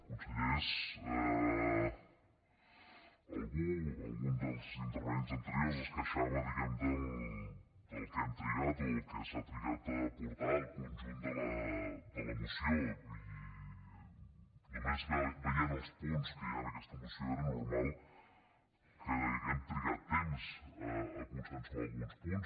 consellers algú algun dels intervinents anteriors es queixava diguem ne del que hem trigat o del que s’ha trigat a portar el conjunt de la moció i només veient els punts que hi ha en aquesta moció era normal que haguem trigat temps a consensuar alguns punts